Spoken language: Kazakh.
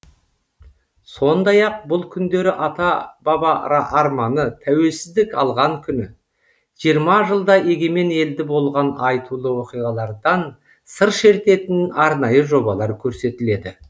сондай ақ бұл күндері ата баба арманы тәуелсіздік алған күні жиырма жылда егемен елде болған айтулы оқиғалардан сыр шертетін арнайы жобалар көрсетіледі